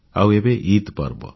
ଆଉ ଏବେ ଇଦ ପର୍ବ